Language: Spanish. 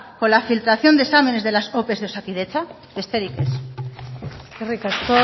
con la filtración de exámenes de las ope de osakidetza besterik ez eskerrik asko